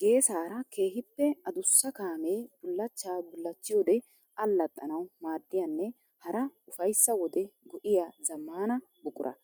Geessara keehippe adussa kaame bullachcha bullachiyoode allaxxanawu maadiyanne hara ufayssa wode go'iya zamaana buquraa.